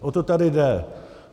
O to tady jde.